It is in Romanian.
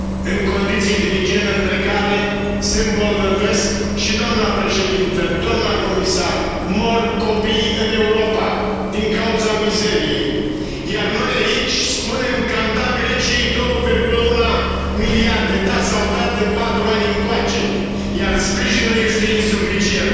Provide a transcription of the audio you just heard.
în condiții de igienă precare, se îmbolnăvesc și doamnă președintă, doamnă comisară, mor copii în Europa din cauza mizeriei. Iar noi, aici, spunem că am dat Greciei 2,1 miliarde. Da, s au dat de patru ani încoace, iar sprijinul este insuficient.